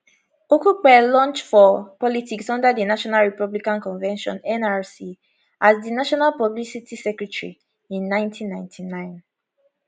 okupe launch for politics under di national republican convention nrc as di national publicity secretary in 1999